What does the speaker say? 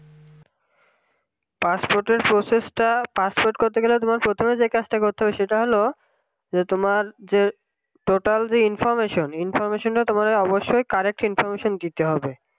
passport এর যে process passport করতে গেলে তুমি যে কাজটা করতে হবে সেটা হলো যে তোমার যে total যে information তোমার অবশ্যই correct information দিতে হবে